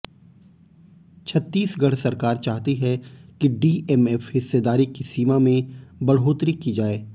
छत्तीसगढ़ सरकार चाहती है कि डीएमएफ हिस्सेदारी की सीमा में बढ़ोतरी की जाए